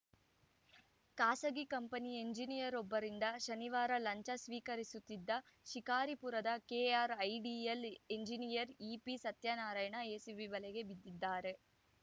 ಖಾಸಗಿ ಕಂಪನಿ ಎಂಜಿನಿಯರೊಬ್ಬರಿಂದ ಶನಿವಾರ ಲಂಚ ಸ್ವೀಕರಿಸುತ್ತಿದ್ದ ಶಿಕಾರಿಪುರದ KRIDL engineer EP Satyanarayana ACB ಬಲೆಗೆ ಬಿದ್ದಿದ್ದಾರೆ